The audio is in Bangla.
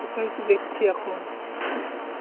সেটাই তো দেখছি এখন.